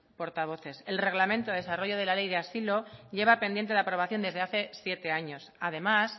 portavoces el reglamento de desarrollo de la ley de asilo lleva pendiente de aprobación desde hace siete años además